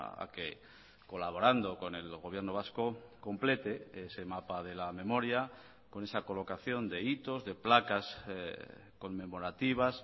a que colaborando con el gobierno vasco complete ese mapa de la memoria con esa colocación de hitos de placas conmemorativas